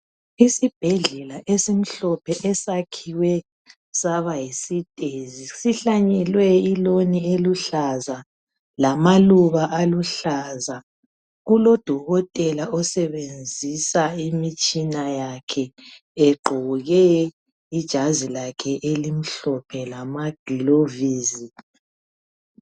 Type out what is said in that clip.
Isibhedlela esimhlophe esakhiwe saba yisitezi sihlanyelwe iloni eluhlaza lamaluba aluhlaza. Kulodokotela osebenzisa imitshina yakhe egqoke ijazi lakhe elimhlophe lamagilavisi.